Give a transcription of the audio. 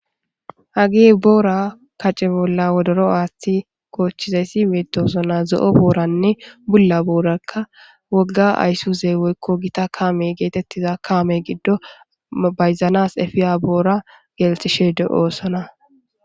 hagi boora kace bolla wodoro aathti koochchizayssi meedosona zo7o booranne bulla boorakka wogga ayssuzee weykko gita kaame geetettiza kaame giddo bayzanas efiya boora geeltishe de7oosona